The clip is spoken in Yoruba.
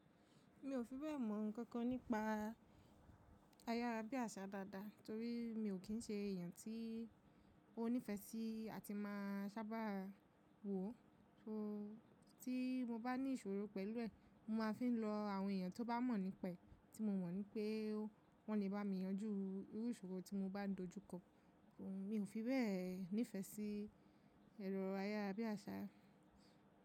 Mi ò fi bẹ́ẹ̀ mọ nǹkan kan nípa ayárábiàsà dáadáa torí mi ò kín ṣe èèyàn tí ó nífẹsí àti máa sábà wò ó. So tí mo bá ní ìṣòro pẹ̀lú ẹ̀, mo máa fi ń lọ àwọn èèyàn tó bá mọ̀ nípa ẹ̀ tí mo mọ̀ ní pé wọ́n lè bá mi yanjú irú ìṣòro tí mo bá dojúkọ. Mi ò fi bẹ́ẹ̀ nífẹ́ sí ẹ̀rọ ayárábiàsà.